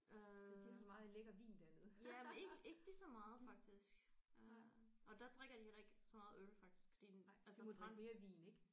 Øh jamen ikke ikke ligeså meget faktisk øh og der drikker de heller ikke så meget øl faktisk fordi altså fransk